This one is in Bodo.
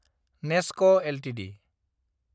नेस्क एलटिडि